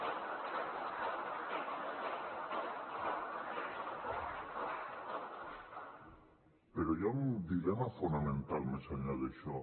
però hi ha un dilema fonamental més enllà d’això